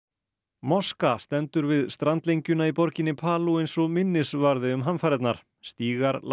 moska stendur við strandlengjuna í borginni eins og minnisvarði um hamfarirnar stígar lágu